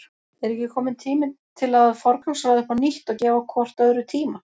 Er ekki kominn tími til að forgangsraða upp á nýtt og gefa hvort öðru tíma?